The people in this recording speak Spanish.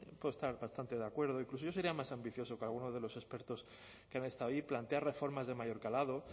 puedo estar bastante de acuerdo incluso yo sería más ambicioso que algunos de los expertos que han estado allí plantear reformas de mayor calado